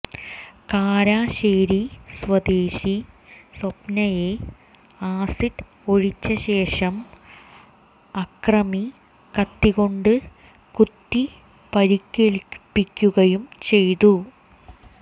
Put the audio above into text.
കാരശ്ശേരി സ്വദേശി സ്വപ്നയെ ആസിഡ് ഒഴിച്ച ശേഷം അക്രമി കത്തികൊണ്ട് കുത്തി പരിക്കേല്പ്പിക്കുകയും ചെയ്തു